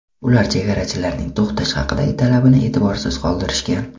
Ular chegarachilarning to‘xtash haqidagi talabini e’tiborsiz qoldirishgan.